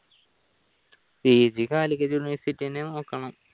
PGcalicut university തന്നെ നോക്കണം